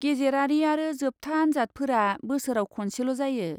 गेजेरारि आरो जोबथा आनजादफोरा बोसोराव खनसेल 'जायो।